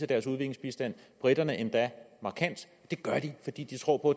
deres udviklingsbistand briterne endda markant det gør de fordi de tror på